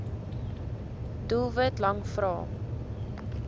doelwit lang vrae